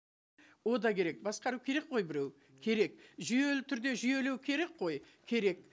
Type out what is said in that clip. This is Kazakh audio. ол да керек басқару керек қой біреу керек жүйелі түрде жүйелеу керек қой керек